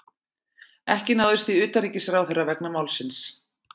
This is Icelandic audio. Ekki náðist í utanríkisráðherra vegna málsins